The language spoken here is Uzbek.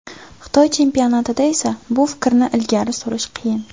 Xitoy chempionatida esa bu fikrni ilgari surish qiyin.